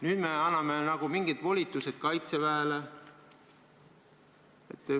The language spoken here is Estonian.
Nüüd me anname nagu mingid volitused Kaitseväele.